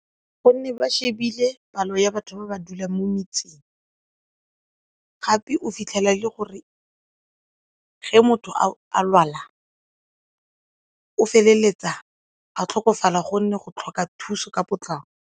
Gonne ba shebile palo ya batho ba ba dulang mo metseng gape o fitlhela e le gore ge motho a lwala o feleletsa a tlhokofala gonne go tlhoka thuso ka potlako.